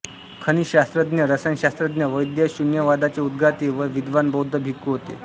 खनिजशास्त्रज्ञ रसायनशास्त्रज्ञ वैद्य शून्यवादाचे उद्गाते व विद्वान बौद्ध भिक्खू होते